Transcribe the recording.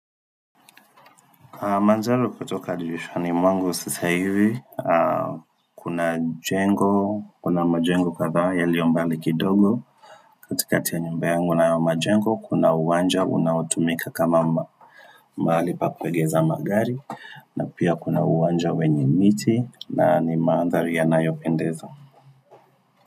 Kwa manzalo kutoka jishwa ni mwangu si sai hivi, kuna jengo, kuna majengo katha ya lio mbali kidogo. Katikati ya nyumba yangu na majengo, kuna uwanja, unautumika kama mahali pa kuegeza magari, na pia kuna uwanja wenye miti, na ni maandharu ya nayopendezo.